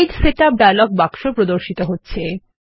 page setup dialogue বাক্স প্রদর্শিত হচ্ছে